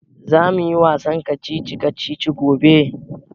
Za mu yi wasan kacici kacici gobe